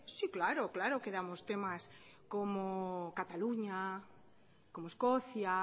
sí claro claro que damos temas como cataluña como escocia